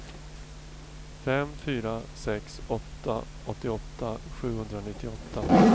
fem fyra sex åtta åttioåtta sjuhundranittioåtta